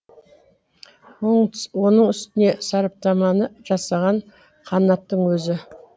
оның үстіне сараптаманы жасаған қанаттың өзі